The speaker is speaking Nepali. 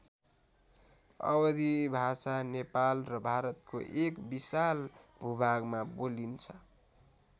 अवधि भाषा नेपाल र भारतको एक विशाल भूभागमा बोलिन्छ।